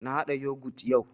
Na haɗa Yogut yau